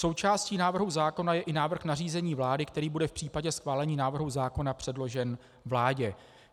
Součástí návrhu zákona je i návrh nařízení vlády, který bude v případě schválení návrhu zákona předložen vládě.